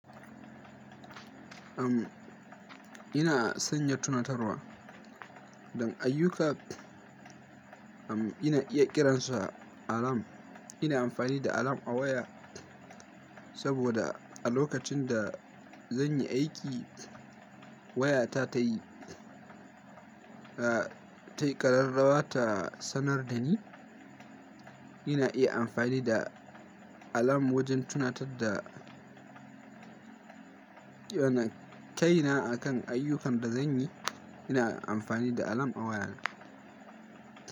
Ama ina sanya tunatarwa don ayyuka, amma ina iya kiransa alarm. Ina amfani da alarm a waya saboda a lokacin da zan yi aiki wayata ta yi, a, ta yi ƙararrawa ta sanar da ni. Ina iya amfani da alarm wajen tunatar da wannan kaina a kan ayyukan da zan yi. Ina amfani da alarm a wayana.